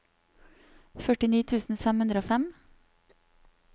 førtini tusen fem hundre og fem